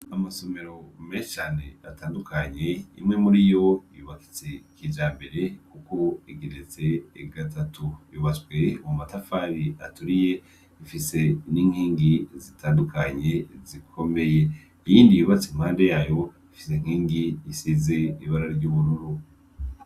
Amasomero meshi ane atandukanye imwe muri yo yubakitse kijambere kuko igeretse gatatu, yubatswe mumatafari aturiye, ifise n'inkingi zitandukanye zikomeye, iyindi yubatse impande yayo ifise inkingi isize ibara ry'ubururu.